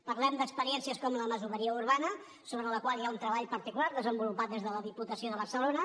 parlem d’experiències com la masoveria urbana sobre la qual hi ha un treball particular desenvolupat des de la diputació de barcelona